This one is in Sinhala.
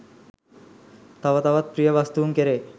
තව තවත් ප්‍රිය වස්තූන් කෙරේ